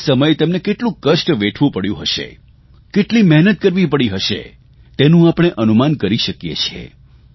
તે સમયે તેમને કેટલું કષ્ટ વેઠવું પડ્યું હશે કેટલી મહેનત કરવી પડી હશે તેનું આપણે અનુમાન કરી શકીએ છીએ